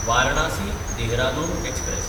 Varanasi-Dehradun express